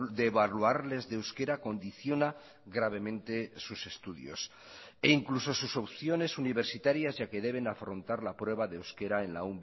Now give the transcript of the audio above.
de evaluarles de euskera condiciona gravemente sus estudios e incluso sus opciones universitarias ya que deben afrontar la prueba de euskera en la